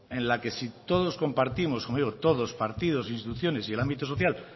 en la que si todos compartimos como digo todos partidos instituciones y el ámbito social